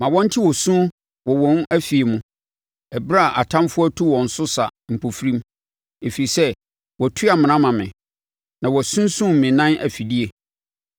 Ma wɔnte osu wɔ wɔn afie mu ɛberɛ a atamfoɔ atu wɔn so sa mpofirim, ɛfiri sɛ, wɔatu amena ama me, na wɔasumsum me nan mfidie.